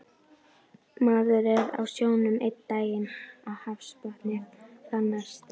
Maður er á sjónum einn daginn og hafsbotni þann næsta